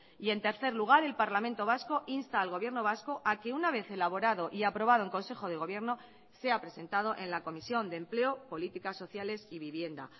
y en tercer lugar el parlamento vasco insta al gobierno vasco a que una vez elaborado y aprobado en consejo de gobierno sea presentado en la comisión de empleo políticas sociales y vivienda